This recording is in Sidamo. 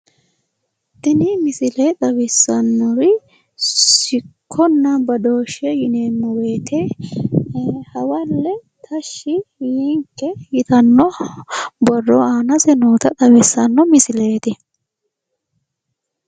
Tini misile xawissannori sicconna badooshshe yineemmo woyiite hawalle tashshi yiinke yitanno borro aanase noota xawissanno misileeti.